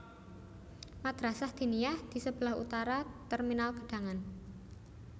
Madrasah Diniyah di sebelah utara Terminal Gedangan